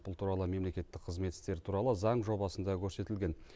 бұл туралы мемлекеттік қызмет істері туралы заң жобасында көрсетілген